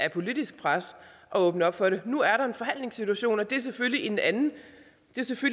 et politisk pres at åbne op for det nu er der en forhandlingssituation og det er selvfølgelig en anden